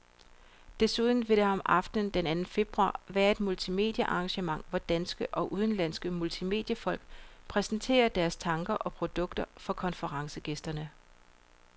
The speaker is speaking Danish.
Desuden vil der om aftenen den anden februar være et multimediearrangement, hvor danske og udenlandske multimediefolk præsenterer deres tanker og produkter for konferencegæsterne.